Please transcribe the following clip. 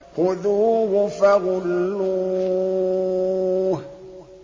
خُذُوهُ فَغُلُّوهُ